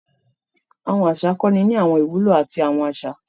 Àwọn aṣa kọni àwọn ìwúlò ati awọn aṣa.